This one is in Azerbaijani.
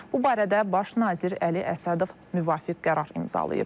Bu barədə Baş nazir Əli Əsədov müvafiq qərar imzalayıb.